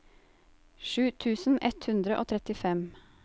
sju tusen ett hundre og trettifem